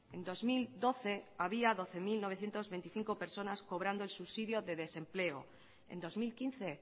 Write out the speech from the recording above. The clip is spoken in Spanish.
en dos mil doce había doce mil novecientos veinticinco personas cobrando el subsidio de desempleo en dos mil quince